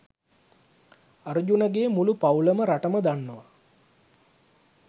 අර්ජුන ගේ මුළු පවුලම රටම දන්නවා.